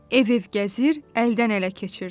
Ev-ev gəzir, əldən-ələ keçirdi.